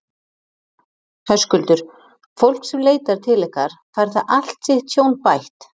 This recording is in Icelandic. Höskuldur: Fólk sem leitar til ykkar, fær það allt sitt tjón bætt?